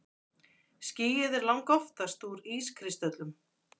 Skýið er langoftast úr ískristöllum.